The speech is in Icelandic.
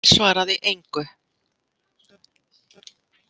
Emil svaraði engu.